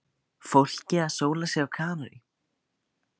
Fólkið að sóla sig á Kanarí.